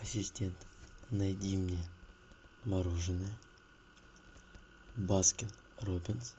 ассистент найди мне мороженое баскин роббинс